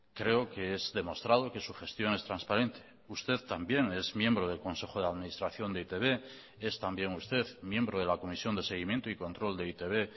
creo que es demostrado que su gestión es transparente usted también es miembro del consejo de administración de e i te be es también usted miembro de la comisión de seguimiento y control de e i te be